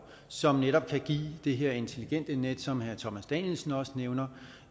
som netop kan give det her intelligente net som herre thomas danielsen også nævner